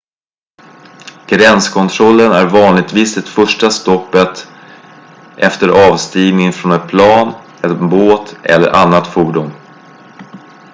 gränskontrollen är vanligtvis det första stoppet efter avstigning från ett plan en båt eller annat fordon